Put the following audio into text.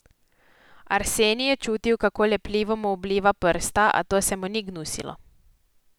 Arsenij je čutil, kako lepljivo mu obliva prsta, a to se mu ni gnusilo.